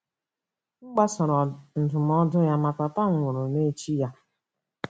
M gbasoro ndụmọdụ ya, ma Papa m nwụrụ n’echi ya.